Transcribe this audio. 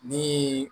Ni